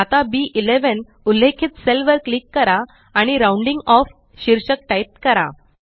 आता बी11 उल्लेखित सेल वर क्लिक करा आणि राउंडिंग ऑफ शीर्षक टाइप करा